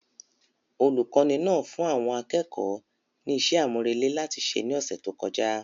Olùkọ́ni náà fún àwọn akẹ́kọ̀ọ́ ní iṣẹ́ àmúrelé láti ṣe ní ọ̀sẹ̀ tó kọjá